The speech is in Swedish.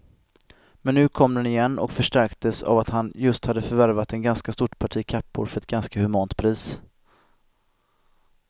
Men nu kom den igen och förstärktes av att han just hade förvärvat ett ganska stort parti kappor för ett ganska humant pris.